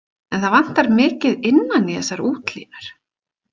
En það vantar mikið innan í þessar útlínur.